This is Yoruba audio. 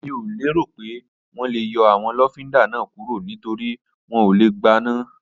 Mi ò lérò pé wọ́n lè yọ àwọn lọ́fíndà náà kúrò nítorípé wọn ò lè gbaná